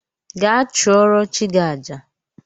Gaa chụrụo chi gi àjà